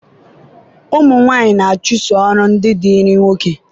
ụmụ nwanyị na-achụso ọrụ ndị dịịrị nwoke